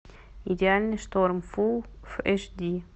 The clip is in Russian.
идеальный шторм фул эйч ди